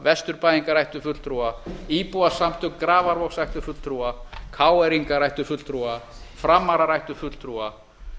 vesturbæingar ættu fulltrúa íbúasamtök grafarvogs ættu fulltrúa krónu ingar ættu fulltrúa framarar ættu fulltrúa